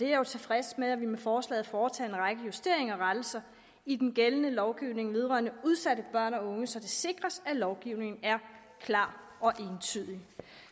jo tilfreds med at vi med forslaget foretager en række justeringer og rettelser i den gældende lovgivning vedrørende udsatte børn og unge så det sikres at lovgivningen er klar og entydig